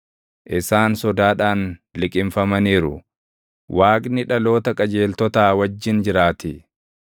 Isaan sodaadhaan liqimfamaniiru; Waaqni dhaloota qajeeltotaa wajjin jiraatii.